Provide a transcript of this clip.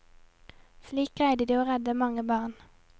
Slik greide de å redde mange barn.